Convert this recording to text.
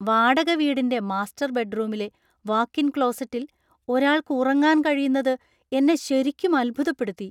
വാടക വീടിന്‍റെ മാസ്റ്റർ ബെഡ്റൂമിലെ വാക്ക് ഇൻ ക്ലോസറ്റിൽ ഒരാൾക്ക് ഉറങ്ങാൻ കഴിയുന്നത് എന്നെ ശരിക്കും അത്ഭുതപ്പെടുത്തി.